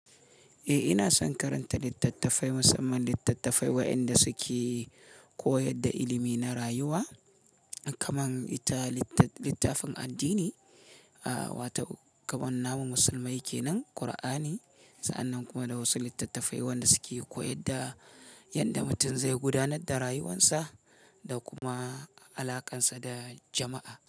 Eh ina son karanta littattafai, musamman littattafai waɗanda suke koyar da ilimi na rayuwa, kaman littafin addini wato kaman namun musulmai kenan Kur'ani, sa'annan kuma da wasu littattafai wanda suke koyar da yadda mutum zai gudanar da rayuwarsa da kuma alaƙarsa da jama'a.